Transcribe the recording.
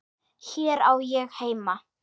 Hér á ég heima.